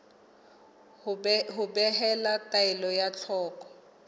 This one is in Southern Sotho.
ho behela taelo ka thoko